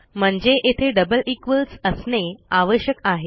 म्हणजे येथे double equals असणे आवश्यक आहे